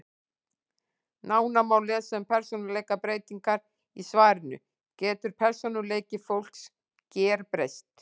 Nánar má lesa um persónuleikabreytingar í svarinu Getur persónuleiki fólks gerbreyst?